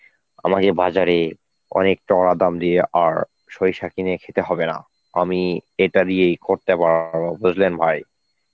আমাদের বাজারে অনেক টাকা দাম দিয়ে আর সরিষার কিনে খেতে হবে না আমি এটা দিয়েই করতে পা বুঝলেন ভাই?